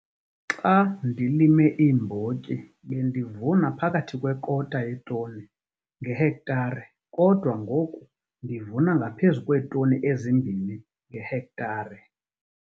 Xa ndilime iimbotyi bendivuna phakathi kwekota yetoni ngehektare kodwa ngoku ndivuna ngaphezu kweetoni ezi-2 ngehektare.